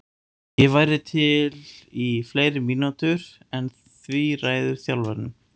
Ég væri til í fleiri mínútur en því ræður þjálfarinn.